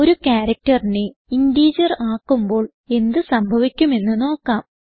ഒരു characterനെ ഇന്റഗർ ആക്കുമ്പോൾ എന്ത് സംഭവിക്കും എന്ന് നോക്കാം